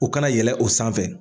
U kana yɛlɛn o sanfɛ